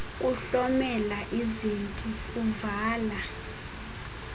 kuhlomela izinti uvala